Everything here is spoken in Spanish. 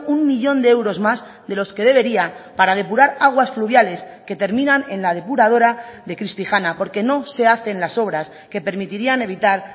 uno millón de euros más de los que debería para depurar aguas fluviales que terminan en la depuradora de crispijana porque no se hacen las obras que permitirían evitar